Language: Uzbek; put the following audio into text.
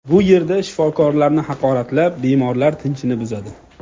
Bu yerda shifokorlarni haqoratlab, bemorlar tinchini buzadi.